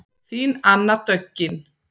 Þín Anna Döggin.